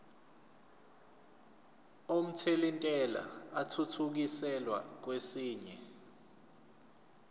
omthelintela athuthukiselwa kwesinye